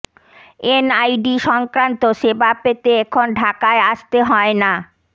NID সংক্রান্ত সেবা পেতে এখন ঢাকায় আসতে হয় না